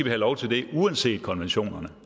have lov til det uanset konventionerne